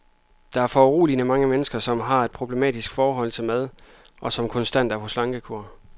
Der er foruroligende mange mennesker, som har et problematisk forhold til mad, og som konstant er på slankekur.